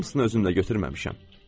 Hamısını özümlə götürməmişəm.